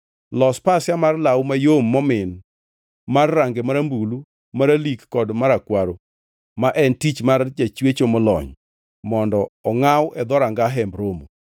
“Los pasia mar law mayom momin mar range marambulu, maralik kod marakwaro ma en tich mar jachwecho molony mondo ongʼaw e dhoranga Hemb Romo.